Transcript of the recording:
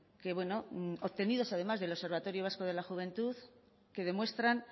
que bueno obtenidos además del observatorio vasco de la juventud que demuestran